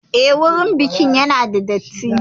Eh, wurin bikin ya na da datti